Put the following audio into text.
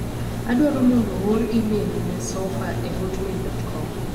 Adwaro mondo oor imel ne Soffa e hotmail.com.